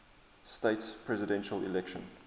states presidential election